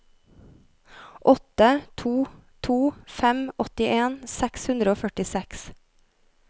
åtte to to fem åttien seks hundre og førtiseks